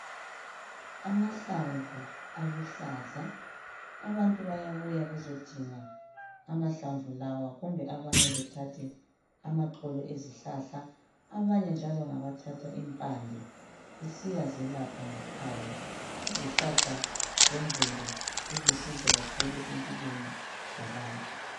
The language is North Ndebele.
Amahlamvu aluhlaza abantu bayabuya bezodinga amahlamvu lawa kumbe abanye bethathe amaxolo ezihlahla abanye njalo ngabathatha impande besiyazelapha ngekhaya izihlahla zemvelo zilusizo kakhulu empilweni zabantu.